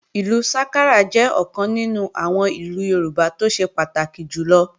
Ìlú sákárà jẹ́ ọ̀kan nínú àwọn ìlù Yorùbá tó ṣe pàtàkì jùlọ